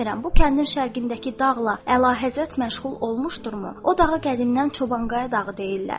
Bilmirəm, bu kəndin şərqindəki dağla əlahəzrət məşğul olmuşdurmu?